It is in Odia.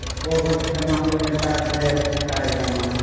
ପୁଅ ଘରକେ ଦିମା ବୋଇଲେ ତାର ଡ୍ରେସ ସାରି ଦମା